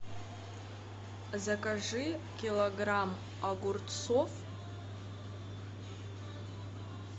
закажи килограмм огурцов